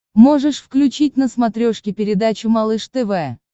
можешь включить на смотрешке передачу малыш тв